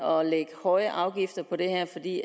og lægge høje afgifter på det her fordi